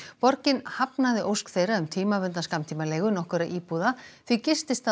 borgin hafnaði ósk þeirra um tímabundna skammtímaleigu nokkurra íbúða því